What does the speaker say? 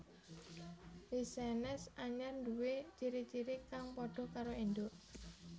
Lichenes anyar nduwé ciri ciri kang padha karo induk